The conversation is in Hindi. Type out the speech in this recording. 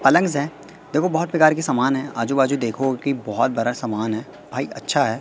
पलंग्स हैं देखो बहोत प्रकार के सामान हैं आजू बाजू देखोगे की बहोत बारा समान है भाई अच्छा है।